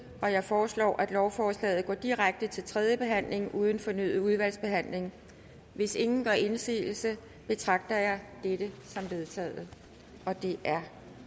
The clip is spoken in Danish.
jeg foreslår at lovforslaget går direkte til tredje behandling uden fornyet udvalgsbehandling hvis ingen gør indsigelse betragter jeg dette som vedtaget det er